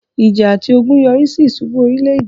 ìjà àti ogun yọrísí ìsubú orílẹ̀-èdè